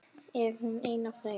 Er hún ein af þeim?